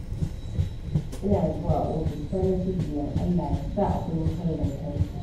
Ina zuwa ofis, farin cikina Allah ya sa akwai wutar lantarki.